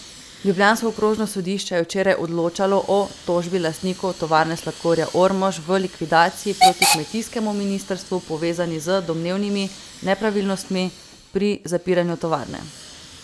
Ljubljansko okrožno sodišče je včeraj odločalo o tožbi lastnikov Tovarne sladkorja Ormož v likvidaciji proti kmetijskemu ministrstvu, povezani z domnevnimi nepravilnostmi pri zapiranju tovarne.